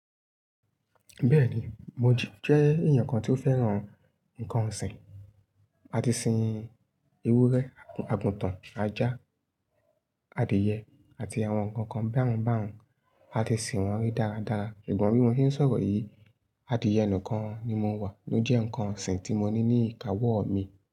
Bẹ́ẹ̀ni, mo jẹ́ èèyàn kan tí ó fẹ́ràn nǹkan ọ̀sìn. A ti sin ewúrẹ́, àgùntàn, ajá, adìyẹ àti àwọn nǹkan kan báhun báhun. A ti sìn wọ́n rí dáadáa. Ṣùgbọ́n bí mo ṣe ń sọ̀rọ̀ yìí, adìẹ nikan ni mo mọ̀ ló jẹ́ nǹkan ọ̀sìn tí mo ní ní ìkáwọ́ mi.